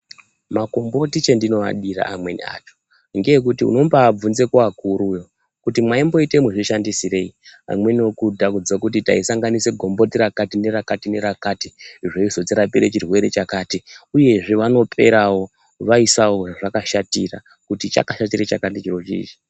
Makomboti chendinoadira amweni acho, ngeekuti unombaabvunze kuakuruyo, kuti mwaimboite muzvishandisirei? Amweni okuudza kuti taisanganise gomboti, rakati nerakati, nerakati, nerakati, zveizorapa chirwere chakati, uyezve vanoperawo vaisa zvezvakashatira kuti, ichi chakashata chakati chiro chichi.